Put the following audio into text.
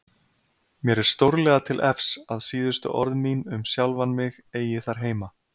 Mér er stórlega til efs að síðustu orð mín um sjálfan mig eigi þar heima.